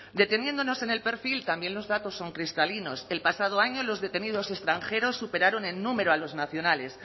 deteniéndonos en el perfil también los datos son cristalinos el pasado año los detenidos extranjeros superaron en número a los nacionales